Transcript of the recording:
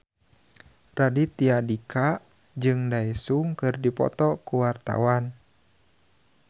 Raditya Dika jeung Daesung keur dipoto ku wartawan